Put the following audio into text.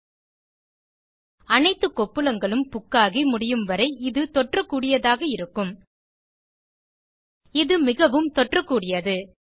இது அனைத்து கொப்புளங்களும் புக்காகி முடியாதவரை இது தொற்றக்கூடியதாக இருக்கும் இது மிகவும் தொற்றக்கூடியது